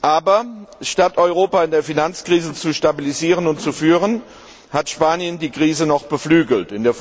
Aber statt Europa in der Finanzkrise zu stabilisieren und zu führen, hat Spanien die Krise noch beflügelt.